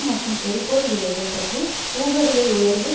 மற்றும் எரிபொருள் விலைகள் பற்றி ஊக விலை உயர்வு